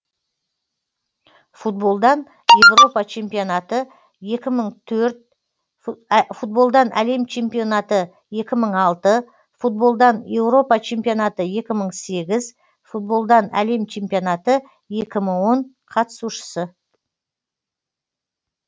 футболдан еуропа чемпионаты екі мың төрт футболдан әлем чемпионаты екі мың алты футболдан еуропа чемпионаты екі мың сегіз футболдан әлем чемпионаты екі мың он қатысушысы